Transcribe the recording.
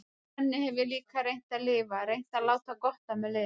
Þannig hef ég líka reynt að lifa, reynt að láta gott af mér leiða.